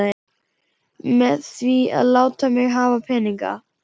Með því að láta mig hafa peninga?